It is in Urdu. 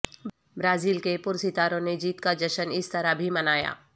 برازیل کے پرستاروں نے جیت کا جشن اس طرح بھی منایا